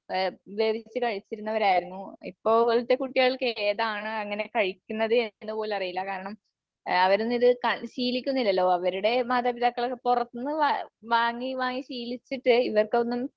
വേവിച്ച് കഴിച്ചവരായിരുന്നു. ഇപ്പോഴത്തെ കുട്ടികൾക്ക് ഏതാണ് അങ്ങനെ കഴിക്കുന്നത് എന്ന് പോലും അറിയില്ല കാരണം അവരൊന്നും ഇത് ശീലിക്കുന്നില്ലല്ലോ. അവരുടെ മാതാപിതാക്കളൊക്കെ പുറത്തുന്നു വാങ്ങി വാങ്ങി ശീലിച്ചിട്ട് ഇവർക്കൊന്നും